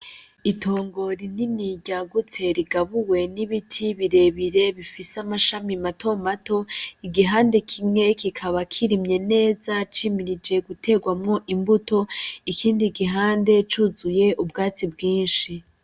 Itongo rinini ryagutse rigabuwe n'ibiti birebire bifise amashami mato mato, igihande kimwe kikaba kirimye neza cimirije guterwamwo imbuto, ikindi gihande cuzuye ubwatsi bwinshi.